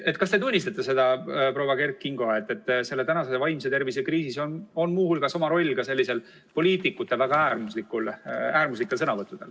Kas te tunnistate, proua Kert Kingo, et selles tänases vaimse tervise kriisis on oma roll muu hulgas poliitikute väga äärmuslikel sõnavõttudel?